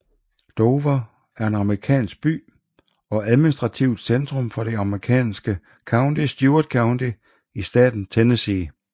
Dover er en amerikansk by og administrativt centrum for det amerikanske county Stewart County i staten Tennessee